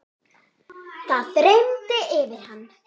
Það þyrmir yfir hana.